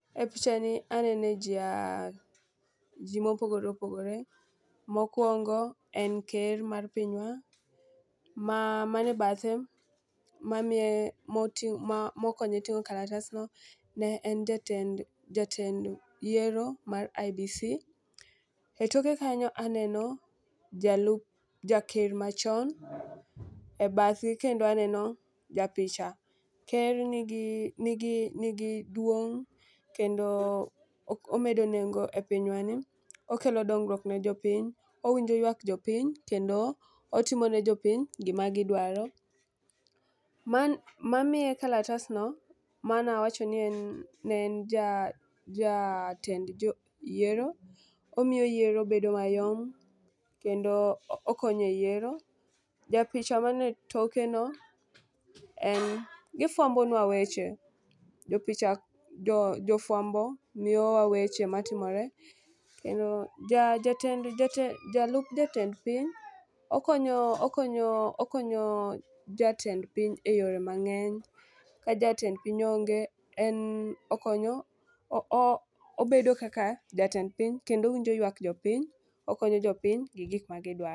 E picha ni anene jii aa jii mopogore opogore .Mokwongo, en ker mar pinywa wa. Ma man e bathe mamiye moti ma mokonye ting'o kalatasno ne en jatend jatend yiero mar IEBC. E toke kanyo aneno jalup jaker machon, e bathe kendo aneno japicha. Ker nigi nigi nigi duong' kendo omedo nengo e pinywa ni okelo dongruok ne jopiny, owinjo ywak jopiny kendo otimo ne jopiny gima gidwaro. Ma mamiye kalatasno mano awacho ni ne en ja ja jatend joyiero. Omiyo yiero bedo mayom kendo okonye yiero. Japicha man e toke no en gifwambo nwa weche. Japicha jofwambo miyowa weche matimore e jatend jatend ja jalup jatend piny okonyo okonyo okonyo jatend piny e yore mang'eny. Ka jatend piny onge en okonyo o bedo kaka jatend piny kendo owinjo ywak jopiny okonyo jopiny gi gik ma gidwaro.